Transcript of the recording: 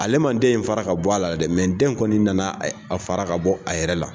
Ale manden in fara ka bɔ a la dɛ, den kɔni nana a fara ka bɔ a yɛrɛ la.